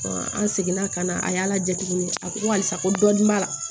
an seginna ka na a y'a laja tuguni a ko ko halisa ko dɔɔnin b'a la